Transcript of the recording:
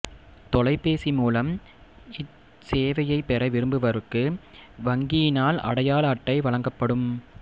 தொலைபேசி மூலம் இச்செவையை பெற விரும்புபவருக்கு வங்கியினால் அடையாள அட்டை வழங்கப்படும்